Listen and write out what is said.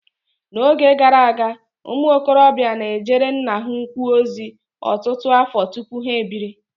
N'oge gara aga, ụmụ okorobịa na-ejere nna ha ukwu ozi ọtụtụ afọ tupu ha ebiri.